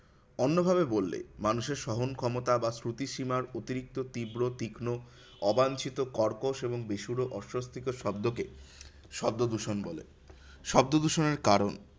অন্য ভাবে বললে, মানুষের সহন ক্ষমতা বা শ্রুতিসীমার অতিরিক্ত তীব্র তীক্ষ্ণ অবাঞ্ছিত কর্কশ এবং বেসুরো অসস্থিকর শব্দকে শব্দদূষণ বলে। শব্দদূষণের কারণ,